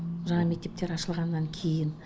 жаңа мектептер ашылғаннан кейін